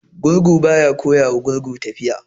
Gurgu ba ya koya wa gurgu tafiya.